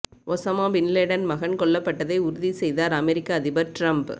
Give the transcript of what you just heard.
Osama bin Laden மகன் கொல்லப்பட்டதை உறுதி செய்தார் அமெரிக்க அதிபர் டிரம்ப்